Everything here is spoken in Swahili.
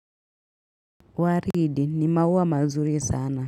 Waridi ni maua mazuri sana.